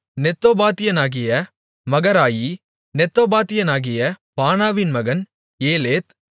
நெத்தோபாத்தியனாகிய Maharai நெத்தோபாத்தியனாகிய பானாவின் மகன் ஏலேத்